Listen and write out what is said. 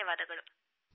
phone call ಮುಕ್ತಾಯ